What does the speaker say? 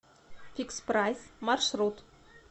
фикспрайс маршрут